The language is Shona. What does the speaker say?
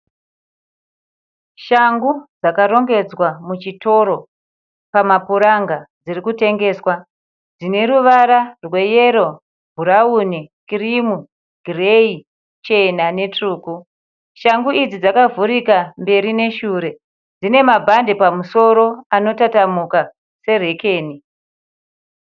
Shangu dzakarongedzwa muchitoro pamapuranga dziri kutengeswa. Dzine ruvara rwe yero, bhurauni, kirimu ,gireyi, chena netsvuku. Shangu idzi dzakavhurika mberi neshure. Dzine mabhandi pamusoro anotatamuka serekeni.